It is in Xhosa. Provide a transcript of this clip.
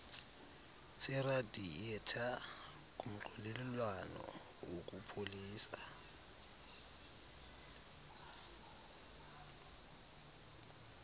seradiyetha kumxokelelwano wokupholisa